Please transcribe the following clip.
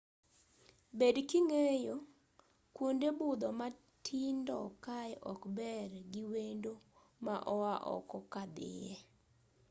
bed king'eyo kuonde budho matindo kae ok ber gi wendo ma oa oko ka dhie